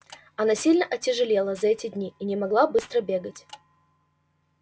она сильно отяжелела за эти дни и не могла быстро бегать